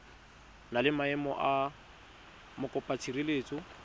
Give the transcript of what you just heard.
na le maemo a mokopatshireletso